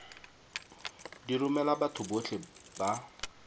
di romela batho botlhe ba